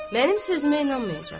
Mənim sözümə inanmayacaq.